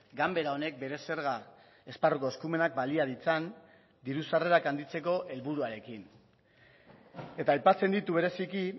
ganbera honek bere zerga esparruko eskumenak balia ditzan diru sarrerak handitzeko helburuarekin eta aipatzen ditu bereziki